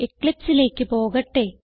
eclipseലേക്ക് പോകട്ടെ